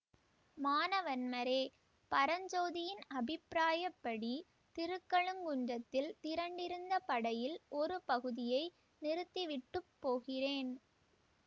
மானவன்மரே பரஞ்சோதியின் அபிப்பிராயப்படி திருக்கழுக்குன்றத்தில் திரண்டிருந்த படையில் ஒரு பகுதியை நிறுத்தி விட்டு போகிறேன்